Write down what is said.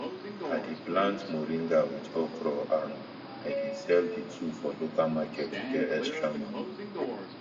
i dey plant moringa with okra and i dey sell the two for local market to get extra money